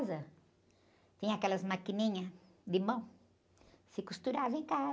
Tinha aquelas maquininhas de mão, se costurava em casa.